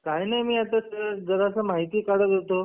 काही नाही मी जरास माहिती काढत होतो